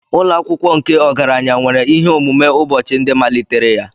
Ụlọ akwụkwọ nke ọgaranya nwere ihe omume ụbọchị ndị malitere ya.